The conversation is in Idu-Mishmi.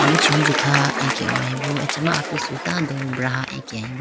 aluchi hunji kha akehoyebo acha ma apisu tando braha akehoyeboo.